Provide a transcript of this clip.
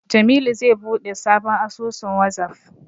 Jamilu zai buɗe sabon asusun Wazaf.